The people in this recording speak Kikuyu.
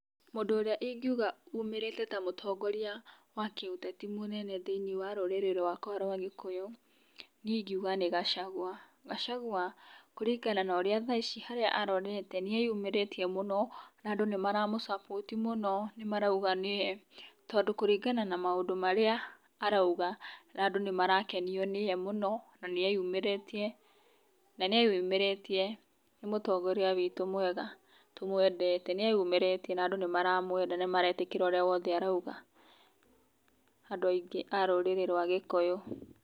Mũndũ ũrĩa ingiuga umĩrĩte ta mũtongoria wa kĩ ũteti mũnene thĩinĩ wa rũrĩrĩ rwakwa rwa gĩkũyũ, niĩ ingiuga nĩ Gachagua, Gachagua kũringana na thaa ici harĩa arorete nĩeyumĩrĩtie mũno na andũ nĩ maramũ support mũno nĩmarauga nĩye, tondũ kũringana na maũndũ marĩa arauga andũ nĩmarakenio nĩ ye mũno na nĩ eyumĩrĩtie, na nĩ eyumĩrĩtie nĩ mũtongoria witũ mwega tũmũndete nĩ eyumĩrĩtie na andũ nĩ maretĩkĩra ũrĩa wothe arauga, andũ aingĩ a rũrĩrĩ rwa gĩkũyũ.